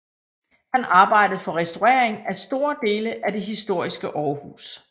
Han arbejdede for restaurering af store dele af det historiske Aarhus